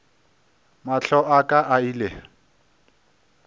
mahlo a ka a ile